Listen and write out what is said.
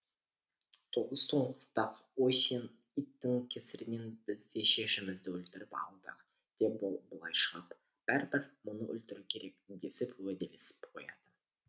тоғыз тоңқылдақ ой сен иттің кесірінен біз де шешемізді өлтіріп алдық деп былай шығып бәрібір мұны өлтіру керек десіп уәделесіп қояды